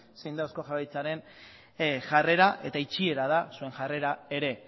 zein den eusko jaurlaritzaren jarrera eta itxiera da zuen jarrera ere